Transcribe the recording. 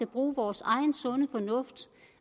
bruge vores egen sunde fornuft